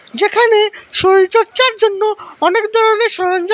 যেখানে শরীরচর্চার জন্য অনেক ধরনের সরঞ্জাম--